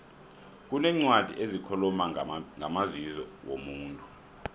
kuneencwadi ezikhuluma ngamazizo womuntu